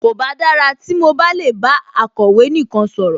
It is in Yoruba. Kòbá dára tí mo bá lè bá akọ̀wé nìkan sọ̀rọ̀